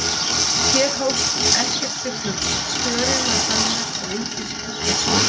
Hér hófst ekkert til flugs, störin var fölnuð og engir fuglar sungu.